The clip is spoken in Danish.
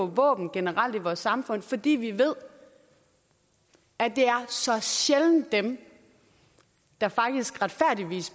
våben generelt i vores samfund fordi vi ved at det så sjældent er dem der